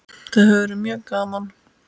Það hefur verið mjög gaman.